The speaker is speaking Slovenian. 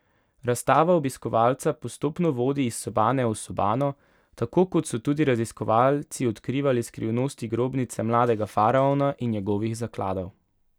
Razstava obiskovalca postopno vodi iz sobane v sobano, tako kot so tudi raziskovalci odkrivali skrivnosti grobnice mladega faraona in njegovih zakladov.